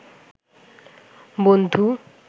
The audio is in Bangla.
বনধু